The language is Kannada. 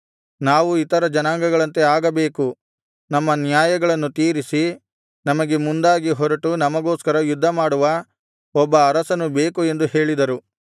ನಾವು ಇತರ ಜನಾಂಗಗಳಂತೆ ಆಗಬೇಕು ನಮ್ಮ ನ್ಯಾಯಗಳನ್ನು ತೀರಿಸಿ ನಮಗೆ ಮುಂದಾಗಿ ಹೊರಟು ನಮಗೋಸ್ಕರ ಯುದ್ಧಮಾಡುವ ಒಬ್ಬ ಅರಸನು ಬೇಕು ಎಂದು ಹೇಳಿದರು